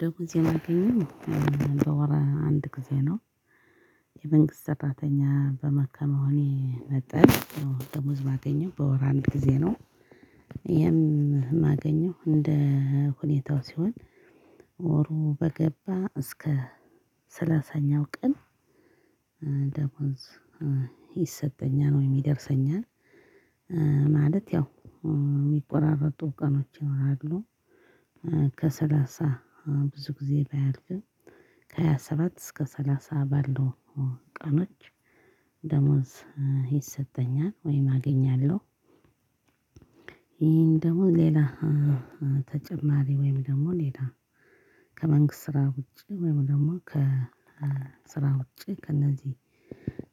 ደሞዝ የማገኘው በወር አንድ ጊዜ ነው። የመንግስት ሰራተኛ በመ ከመሆኔ መጠን ደሞዝ የማገኘው በወር አንድ ጊዜ ነው። የማገኘው እንደ ሁኔታው ሲሆን። ወሩ በገባ እስከ ሰላሳኛው ቀን ደሞዝ ይሰጠኛል ወይም ይደርሰኛል። ማለት ያው የሚቆራረጡ ቀኖች ይኖራሉ። ከሰላሳ ብዙ ጊዜ ባያልፍም ከሃያ ሰባት እስከ ሰላሳ ባለው ቀኖች ደሞዝ ይሰጠኛል ወይም አገኛለሁ። ይሄን ደግሞ ሌላ ተጨማሪ ወይም ደግሞ ሌላ ከመንግስት ስራ ውጪ ወይም ደግሞ ከስራ ውጪ ከእነዚህ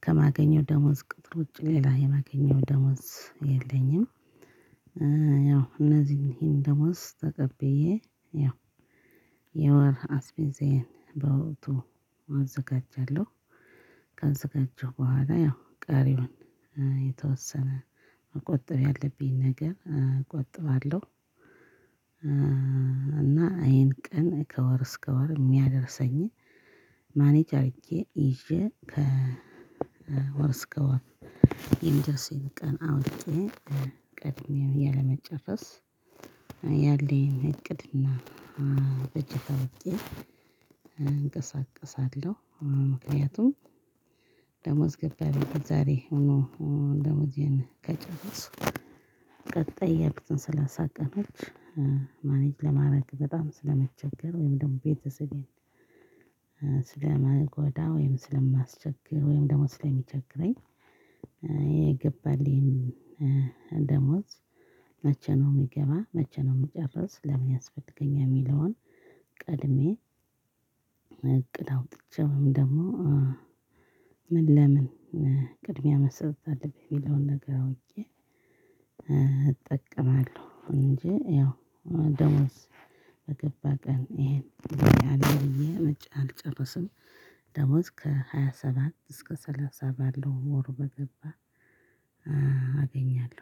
ከማገኘው ደሞዝ ቅጥር ውጪ ሌላ የማገኘው ደሞዝ የለኝም። ያው እነዚህን ይሄን ደሞዝ ተቀብዬ ያው የወር አስቤዛዬን በወቅቱ አዘጋጃለሁ። ካዘጋጀው በኋላ ያው ቀሪውን የተወሰነ መቆጠብ ያለብኝ ነገር እቆጥባለሁ። እና ይሄን ቀን ከወር እስከ ወር የሚያደርሰኝ ማኔጅ አርጌ ይዤ ከወር እስከ ወር። የሚደርሰኝ ቀን አውቄ ቀድሜ እያለመጨረስ ያለኝን እቅድና በጀት አውቄ እንቀሳቀሳለሁ። ምክንያቱም ደሞዝ ገባ ብዬ ዛሬ ሙሉ ደሞዜን ከጨረስኩ። ቀጣይ ያሉትን ስላሳ ቀኖች ማኔጅ ለማድረግ በጣም ስለመቸገር ወይም ደግሞ ቤተሰቤን ስለማጎዳ ወይም ስለማስቸግር ወይም ደግሞ ስለሚቸግረኝ የገባልኝ ደሞዝ። መቼ ነው የሚገባ? መቼ ነው የምጨርስ? ለምን ያስፈልገኛል? የሚለውን ቀድሜ እቅድ አውጥቼ ወይም ደግሞ ምን ለምን ቅድሚያ መሰጠት አለበት የሚለውን ነገር አውቄ እጠቀማለሁ። እንጂ ያው ደሞዝ በገባ ቀን ይሄን አልጨረስም። ደሞዝ ከሃያ ሰባት እስከ ሰላሳ ባለው ወሩ በገባ አገኛለሁ